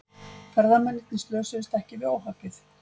Ferðamennirnir slösuðust ekki við óhappið